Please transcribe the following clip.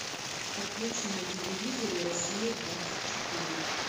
подключи на телевизоре россия двадцать четыре